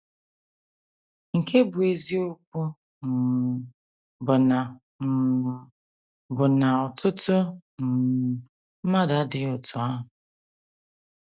Nke bụ́ eziokwu um bụ na um bụ na ọtụtụ um mmadụ adịghị otú ahụ.